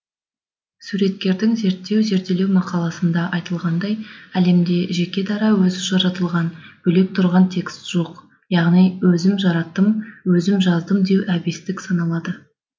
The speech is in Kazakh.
суреткердің зерттеу зерделеу мақаласында айтылғандай әлемде жеке дара өзі жаратылған бөлек тұрған текст жоқ яғни өзім жараттым өзім жаздым деу әбестік саналады